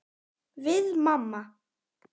Við mamma.